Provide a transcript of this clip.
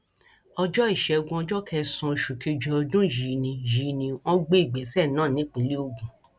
ọjọ ìṣẹgun ọjọ kẹsànán oṣù kejì ọdún yìí ni yìí ni wọn gbé ìgbésẹ náà nípínlẹ ogun